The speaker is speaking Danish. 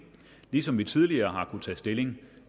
ligesom vi tidligere har kunnet tage stilling